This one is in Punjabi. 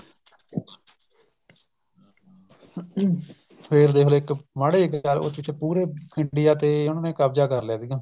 ਫ਼ਿਰ ਦੇਖ ਲੋ ਇੱਕ ਮਾੜੇ ਜੇ ਇੱਕ ਕਰ ਉਸ ਚ ਪੂਰੇ India ਤੇ ਉਹਨਾ ਨੇ ਕਬਜਾ ਕ਼ਰ ਲਿਆ ਸੀਗਾ